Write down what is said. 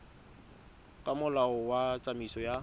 ka molao wa tsamaiso ya